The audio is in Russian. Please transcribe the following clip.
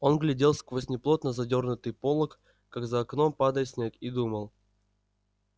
он глядел сквозь неплотно задёрнутый полог как за окном падает снег и думал